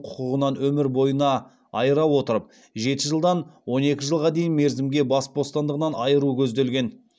құқығынан өмір бойына айыра отырып жеті жылдан он екі жылға дейін мерзімге бас бостандығынан айыру көзделген